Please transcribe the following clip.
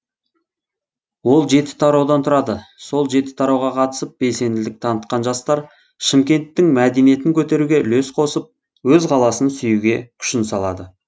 ол жеті тараудан тұрады сол жеті тарауға қатысып белсенділік танытқан жастар шымкенттің мәдинетін көтеруге үлес қосып өз қаласын сүюге күшін салады